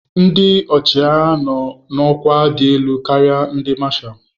Ndị ọchịagha nọ n'ọkwa dị elu karịa ndị mashals.